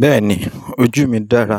Bẹ́ẹ̀ni, ojú mi dára.